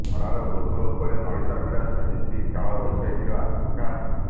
ଖରାର ବୋଝ ଉପରେ ନଳିତା ବିଡ଼ା ସାଜିଛି କାଳବୈଶାଖୀର ଆଶଙ୍କା